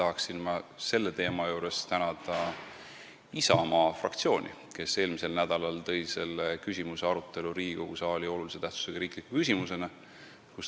Kindlasti tahan ma tänada Isamaa fraktsiooni, kes tõi eelmisel nädalal selle teema arutelu Riigikogu saali olulise tähtsusega riikliku küsimusena.